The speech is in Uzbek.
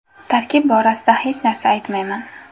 Tarkib borasida hech narsa aytmayman.